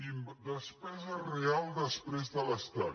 i despesa real després de l’estat